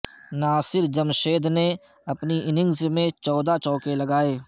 ناصر جمشید نے اپنی اننگز میں چودہ چوکے لگائے